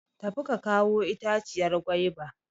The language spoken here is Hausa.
Tafi ka kawo itaciyar gwaiba!